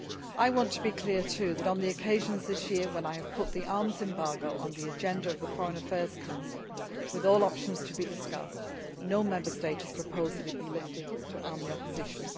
I want to be clear too that on the occasions this year when I have put the arms embargo on the agenda of the Foreign Affairs Council with all options to be discussed no Member State has proposed that it be lifted to arm the opposition.